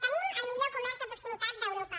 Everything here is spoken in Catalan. tenim el millor comerç de proximitat d’europa